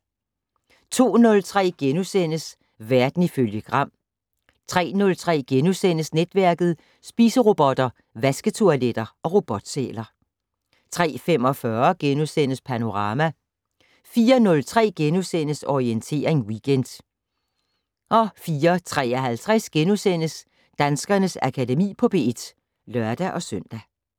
02:03: Verden ifølge Gram * 03:03: Netværket: Spiserobotter, vasketoiletter og robotsæler * 03:45: Panorama * 04:03: Orientering Weekend * 04:53: Danskernes Akademi på P1 *(lør-søn)